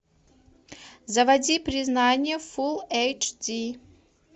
заводи признание фулл эйч ди